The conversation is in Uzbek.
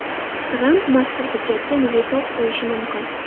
Tramp mazkur hujjatga veto qo‘yishi mumkin.